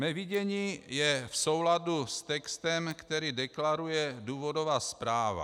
Mé vidění je v souladu s textem, který deklaruje důvodová zpráva.